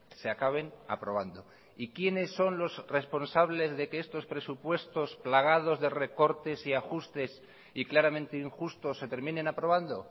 se acaben aprobando y quiénes son los responsables de que estos presupuestos plagados de recortes y ajustes y claramente injustos se terminen aprobando